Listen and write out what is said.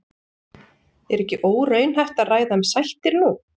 Er ekki óraunhæft að ræða um sættir nú?